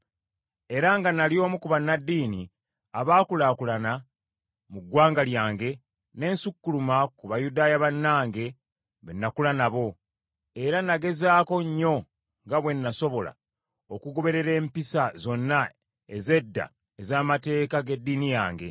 era nga nnali omu ku bannaddiini abaakulaakulana mu ggwanga lyange, ne nsukkuluma ku Bayudaaya bannange be nakula nabo, era nagezaako nnyo nga bwe nasobola okugoberera empisa zonna ez’edda ez’amateeka g’eddiini yange.